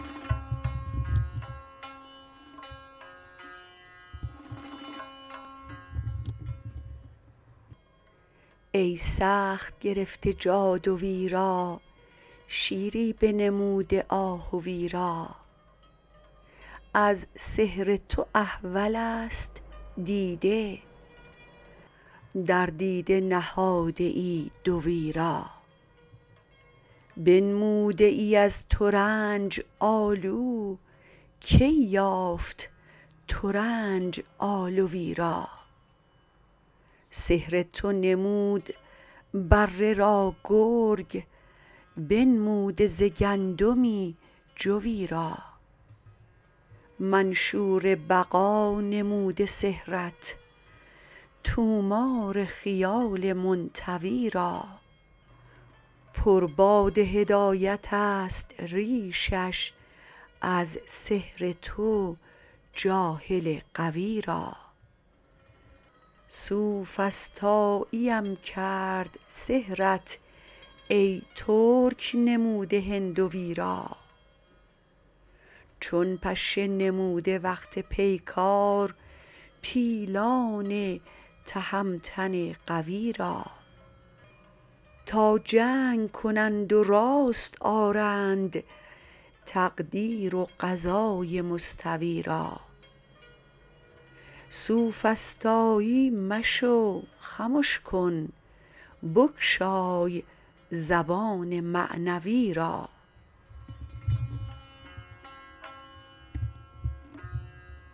ای سخت گرفته جادوی را شیری بنموده آهوی را از سحر تو احولست دیده در دیده نهاده ای دوی را بنموده ای از ترنج آلو کی یافت ترنج آلوی را سحر تو نمود بره را گرگ بنموده ز گندمی جوی را منشور بقا نموده سحرت طومار خیال منطوی را پر باد هدایتست ریشش از سحر تو جاهل غوی را سوفسطاییم کرد سحرت ای ترک نموده هندوی را چون پشه نموده وقت پیکار پیلان تهمتن قوی را تا جنگ کنند و راست آرند تقدیر و قضای مستوی را سوفسطایی مشو خمش کن بگشای زبان معنوی را